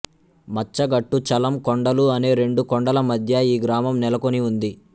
మచ్చగట్టు చలం కొండలు అనే రెండు కొండల మధ్య ఈ గ్రామం నెలకొని ఉంది